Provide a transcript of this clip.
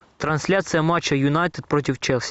трансляция матча юнайтед против челси